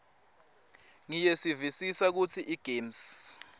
ngiyevisisa kutsi igems